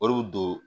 O de bi don